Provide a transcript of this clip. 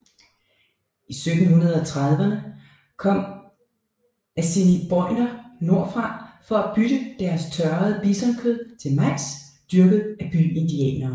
I 1730erne kom assiniboiner nordfra for at bytte deres tørrede bisonkød til majs dyrket af byindianerne